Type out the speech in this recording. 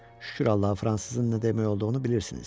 Şükür Allaha, fransızın nə demək olduğunu bilirsiniz.